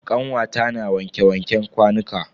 Kanwata na wanke wanken kwanuka.